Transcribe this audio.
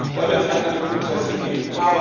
Da wird es einige Prozesse geben.